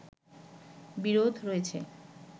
বিরোধ রয়েছে